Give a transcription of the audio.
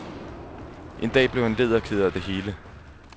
En dag blev han led og ked af det hele.